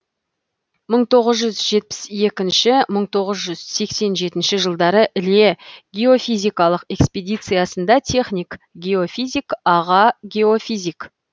мың тоғыз жүз жетпіс екінші мың тоғыз жүз сексен жетінші жылдары іле геофизикалық экспедициясында техник геофизик аға геофизик